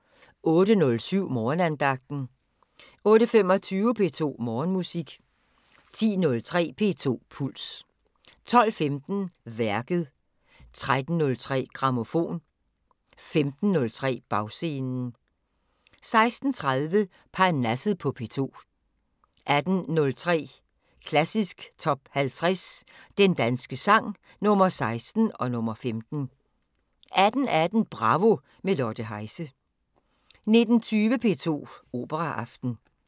08:07: Morgenandagten 08:25: P2 Morgenmusik 10:03: P2 Puls 12:15: Værket 13:03: Grammofon 15:03: Bagscenen 16:30: Parnasset på P2 18:03: Klassisk Top 50 Den danske sang – Nr. 16 og nr. 15 18:18: Bravo – med Lotte Heise 19:20: P2 Operaaften